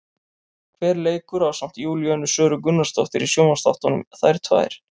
Hver leikur ásamt Júlíönu Söru Gunnarsdóttir í sjónvarpsþáttunum, Þær tvær?